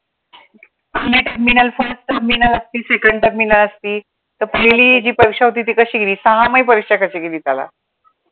n=Next middleterminal असती second terminal असती तर पहिली जी परीक्षा होती ती कशी गेली? सहामाही परीक्षा कशी गेली त्याला?